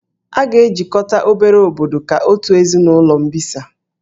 A ga-ejikọta obere obodo ka otu ezinụlọ mbisa